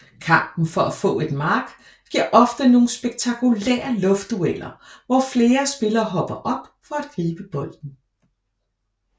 Kampen for at få et mark giver ofte nogle spektakulære luftdueller hvor flere spillere hopper op for at gribe bolden